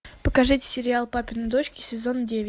покажите сериал папины дочки сезон девять